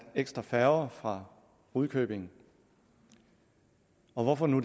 ekstra færger fra rudkøbing hvorfor nu